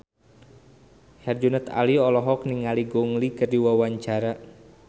Herjunot Ali olohok ningali Gong Li keur diwawancara